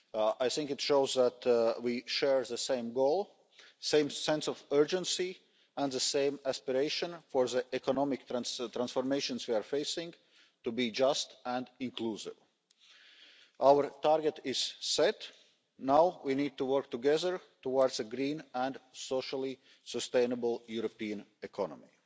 I think it shows that we share the same goal, the same sense of urgency, and the same aspiration for the economic transformations we are facing to be just and inclusive. Our target is set. Now we need to work together towards a green and socially sustainable European economy.